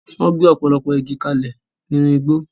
Wọ́n gé ọ̀pọ̀lọpọ̀ igi kalẹ̀ nínú igbó.